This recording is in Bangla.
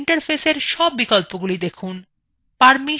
user interfaceএর সব বিকল্পগুলি দেখুন